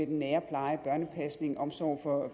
nære pleje børnepasning omsorg for